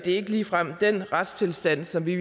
ikke ligefrem den retstilstand som vi